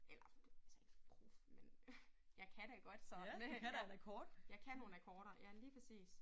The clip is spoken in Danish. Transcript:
Eller ikke særlig prof men jeg kan da godt sådan øh ja jeg kan nogle akkorder ja lige præcis